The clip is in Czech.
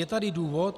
Je tady důvod?